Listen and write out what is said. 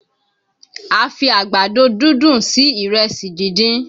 A fi Àgbàdo dúndùn sí ìrẹsì díndín